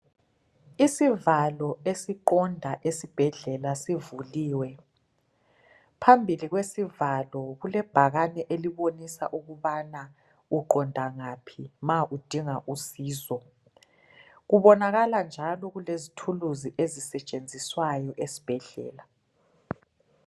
Isivalo esiqonda esibhedlela sivuliwe phambili kwesivalo kulebhakani elibonisa ukubana uqonda ngaphi nxa udinga usizo kubonakala njalo kulezithulizi ezisetshenziswayo esibhedlela